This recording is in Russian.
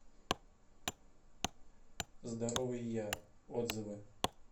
здоровый я отзывы